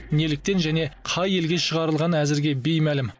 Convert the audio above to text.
неліктен және қай елге шығарылғаны әзірге беймәлім